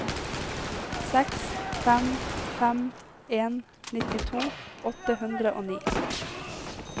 seks fem fem en nittito åtte hundre og ni